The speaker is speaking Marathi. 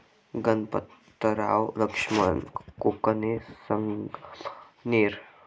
गणपतराव लक्ष्मण कोकणे, संगमनेर